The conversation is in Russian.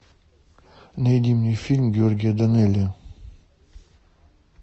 найди мне фильм георгия данелия